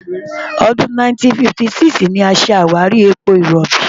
Ọdún 1956 ni a ṣàwárí epo rọ̀bì.